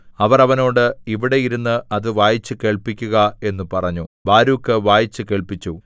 അവർ അവനോട് ഇവിടെ ഇരുന്ന് അത് വായിച്ചുകേൾപ്പിക്കുക എന്നു പറഞ്ഞു ബാരൂക്ക് വായിച്ചു കേൾപ്പിച്ചു